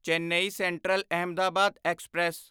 Chennai central Ahmedabad express